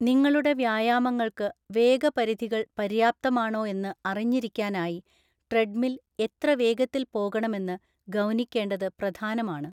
നിങ്ങളുടെ വ്യായാമങ്ങള്‍ക്ക് വേഗപരിധികള്‍ പര്യാപ്തമാണോ എന്ന് അറിഞ്ഞിരിക്കാനായി ട്രെഡ്‌മിൽ എത്ര വേഗത്തിൽ പോകണമെന്ന് ഗൗനിക്കേണ്ടത് പ്രധാനമാണ്.